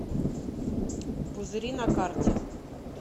пузыри на карте